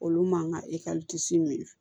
Olu man kan ka min